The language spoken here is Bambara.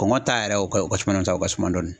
Kɔngɔ ta yɛrɛ o ka o ka suma dɔɔni sa u ka suma dɔɔni.